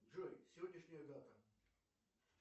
джой сегодняшняя дата